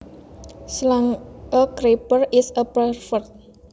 slang A creeper is a pervert